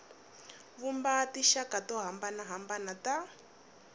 vumba tinxaka to hambanahambana ta